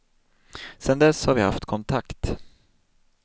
Sen dess har vi haft kontakt.